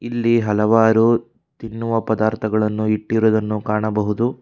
ಇಲ್ಲಿ ಹಲವಾರು ತಿನ್ನುವ ಪದಾರ್ಥಗಳನ್ನು ಇಟ್ಟಿರುವುದನ್ನು ಕಾಣಬಹುದು.